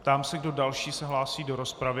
Ptám se, kdo další se hlásí do rozpravy.